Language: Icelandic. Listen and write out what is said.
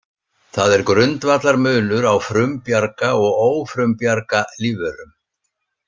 Það er grundvallarmunur á frumbjarga og ófrumbjarga lífverum.